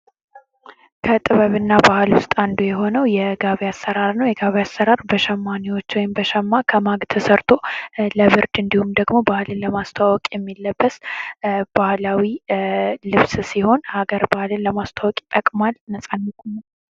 ከጥበብ እና ባህል ውስጥ አንዱ የሆነው የጋቢ አሰራር ነው ። የጋቢ አሰራር በሸማኔዎች ወይም በሸማ ከማግ ተሰርቶ ለብርድ እንዲሁም ደግሞ ባህልን ለማስተዋወቅ የሚለበስ ባህላዊ ልብስ ሲሆን ሀገር ባህልን ለማስተዋወቅ ይጠቅማል ። ነጻነትም አለው ።